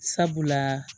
Sabula